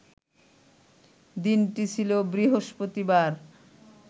দিনটি ছিল বৃহস্পতিবার